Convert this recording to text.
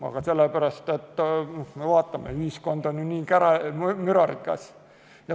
Aga sellepärast, et ühiskond on ju nii kära- ja mürarikas.